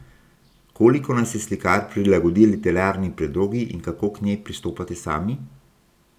Koliko naj se slikar prilagodi literarni predlogi in kako k njej pristopate sami?